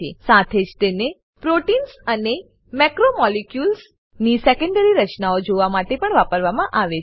સાથે જ તેને પ્રોટીન્સ પ્રોટેઈન્સ અને મેક્રોમોલિક્યુલ્સ મેક્રોમોલેક્યુલ્સ ની સેકેન્ડરી રચનાઓ જોવા માટે પણ વાપરવામાં આવે છે